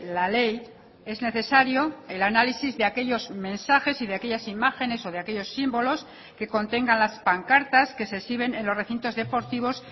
la ley es necesario el análisis de aquellos mensajes y de aquellas imágenes o de aquellos símbolos que contengan las pancartas que se exhiben en los recintos deportivos